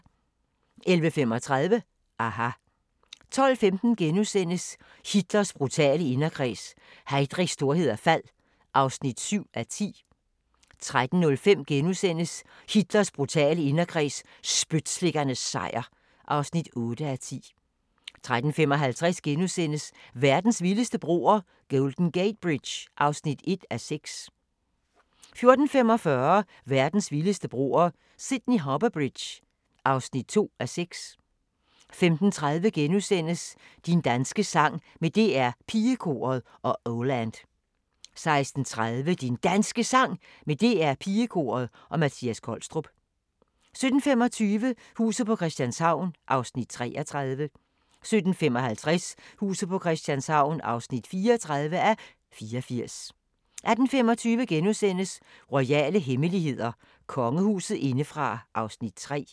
11:35: aHA! 12:15: Hitlers brutale inderkreds – Heydrichs storhed og fald (7:10)* 13:05: Hitlers brutale inderkreds – spytslikkernes sejr (8:10)* 13:55: Verdens vildeste broer – Golden Gate Bridge (1:6)* 14:45: Verdens vildeste broer – Sydney Harbour Bridge (2:6) 15:30: Din danske sang med DR Pigekoret og Oh Land * 16:30: Din Danske Sang med DR Pigekoret og Mattias Kolstrup 17:25: Huset på Christianshavn (33:84) 17:55: Huset på Christianshavn (34:84) 18:25: Royale hemmeligheder: Kongehuset indefra (3:4)*